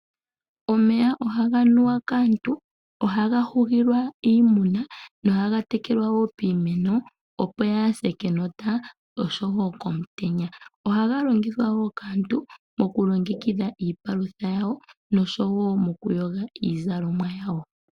Omeya ohaga nuwa kaantu, ohaga hugilwa iimuna, nohaga tekelwa wo piimeno opo kayi se kenota osho wo komutenya. Ohaga longithwa wo kaantu mokulongekidha iipalutha yawo osho wo mokuyoga iizalomwa yawo.